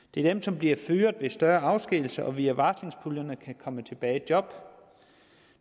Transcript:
det er dem som bliver fyret ved større afskedigelser og som via varslingspuljerne kan komme tilbage i job